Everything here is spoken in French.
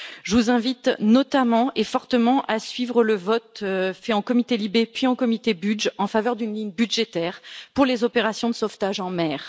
Je vous invite notamment et fortement à suivre le vote qui a eu lieu en commission LIBE puis en commission BUDG en faveur d'une ligne budgétaire pour les opérations de sauvetage en mer.